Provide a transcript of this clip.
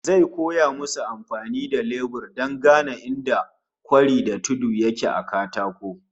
Zai koya musu amfani da lebur don gane inda kwari da tudu yake a katako